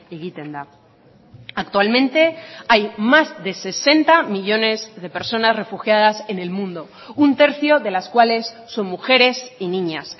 egiten da actualmente hay más de sesenta millónes de personas refugiadas en el mundo un tercio de las cuales son mujeres y niñas